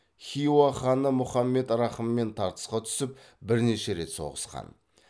хиуа ханы мұхаммед рахыммен тартысқа түсіп бірнеше рет соғысқан